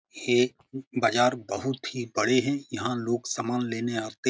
हे म बजार बहुत ही बड़े हैं यहाँ लोग समान लेने आते --